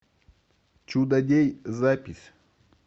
чудодей запись